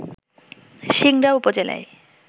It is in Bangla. সিংড়া উপজেলায়